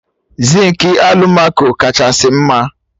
Zinkị alụmaco kachasị mma